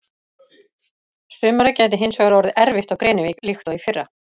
Sumarið gæti hins vegar orðið erfitt á Grenivík líkt og í fyrra.